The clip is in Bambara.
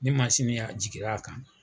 Ni y'a jiginna a kan.